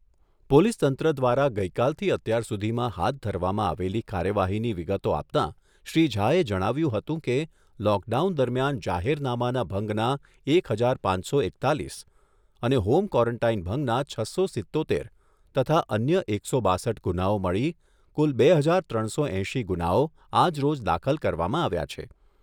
Police તંત્ર દ્વારા ગઈકાલથી અત્યાર સુધીમાં હાથ ધરવામાં આવેલી કાર્યવાહીની વિગતો આપતાં શ્રી ઝાએ જણાવ્યુંં હતું કે, લોકડાઉન દરમિયાન જાહેરનામાના ભંગના એક હજાર પાંચસો એકતાલીસ અને હોમ કવોરન્ટાઈન ભંગના છસો સિત્તોતેર તથા અન્ય એકસો બાસઠ ગુનાઓ મળી કુલ બે હજાર ત્રણસો એંશી ગુનાઓ આજ રોજ દાખલ કરવામાં આવ્યા છે.